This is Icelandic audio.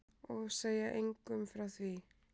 Og segja engum frá því.